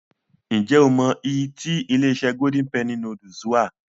Ǹ jẹ́ o mọ I tí ilé-iṣẹ́ Golden penny noodles wà.